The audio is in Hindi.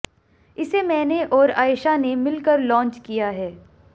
इसे मैंने और आएशा ने मिलकर लॉन्च किया है